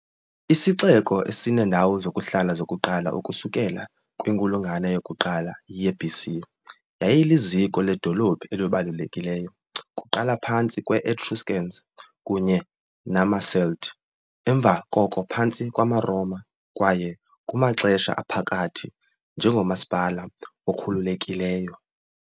Isixeko, esineendawo zokuhlala zokuqala ukusukela kwinkulungwane yokuqala ye-BC, yayiliziko ledolophu elibalulekileyo kuqala phantsi kwe- Etruscans kunye namaCelt, emva koko phantsi kwamaRoma kwaye, kumaXesha Aphakathi, njengomasipala okhululekileyo .